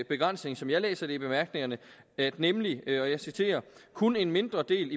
begrænsning som jeg læser det i bemærkningerne nemlig at og jeg citerer kun en mindre del